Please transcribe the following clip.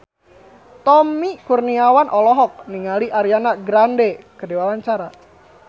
Tommy Kurniawan olohok ningali Ariana Grande keur diwawancara